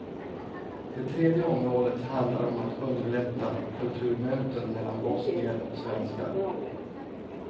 Det tredje området handlar om att underlätta kulturmöten mellan bosnier och svenskar.